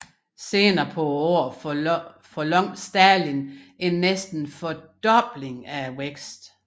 Senere på året forlagte Stalin en næsten fordobling af væksten